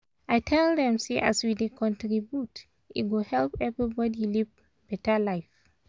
i tell dem say as we dey contribute e go help everybody live beta life.